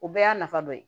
O bɛɛ y'a nafa dɔ ye